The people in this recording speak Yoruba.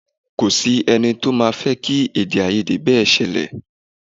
Kò sí ẹnì to máa fẹ́ kí èdè-áiyedé bẹ́ sílẹ̀.